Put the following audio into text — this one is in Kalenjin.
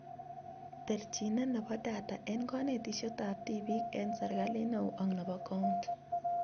Terjinet nebo data eng konetishetab tibiik eng serikalit neo ak nebo county